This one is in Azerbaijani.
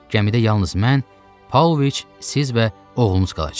Gəmidə yalnız mən, Pauloviç, siz və oğlunuz qalacaq.